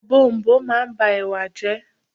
Ọ̀bọ̀ọ̀nbọọ̀n máa ń ba Ẹ̀wà jẹ́.